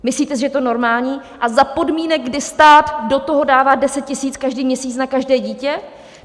Myslíte si, že je to normální a za podmínek, kdy stát do toho dává 10 000 každý měsíc na každé dítě?